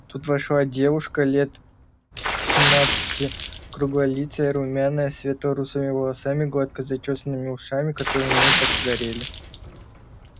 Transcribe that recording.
тут вошла девушка лет семнадцати круглолицая румяная светло-русыми волосами гладко зачёсанными ушами которые у неё так и горели